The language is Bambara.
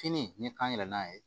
Fini ne k'an yɛlɛla a ye